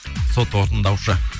сот орындаушы